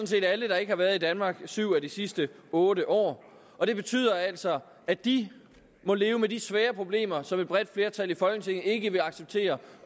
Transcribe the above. set alle der ikke har været i danmark syv af de sidste otte år og det betyder altså at de må leve med de svære problemer som et bredt flertal i folketinget ikke vil acceptere